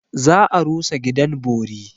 Za a rusa gidan bori.